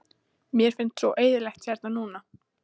Mér finnst svo eyðilegt hérna núna.